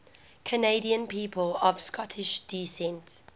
canadian people of scottish descent